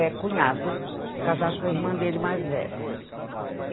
É cunhado, casado com a irmã dele mais velha.